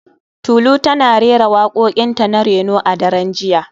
Tolu tana rera wakokinta na reno a daren jiya